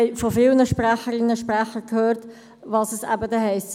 Wir haben von vielen Sprecherinnen und Sprechern gehört, was es dann bedeutet.